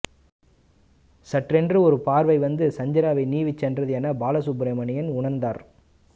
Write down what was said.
சட்டென்று ஒரு பார்வை வந்து சந்திராவை நீவிசென்றது என பாலசுப்ரமணியன் உணர்ந்தார்